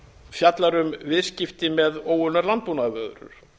fjallar um viðskipti með óunnar landbúnaðarvörur